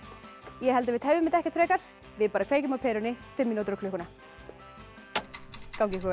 ég held að við tefjum þetta ekkert frekar við kveikjum á perunni fimm mínútur á klukkuna gangi ykkur